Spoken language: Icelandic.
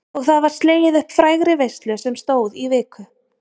Og það var slegið upp frægri veislu sem stóð í viku.